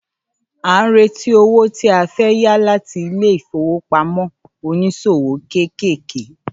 À ń retí owó tí a fẹ́ yá láti ilé ìfowópamọ́ oníṣòwò kéékèèké